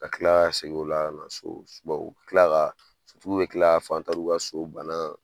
Ka kila ka segin o la ka na so . U bi kila ka , f'u bi kila ka ka so bana.